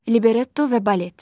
Libretto və balet.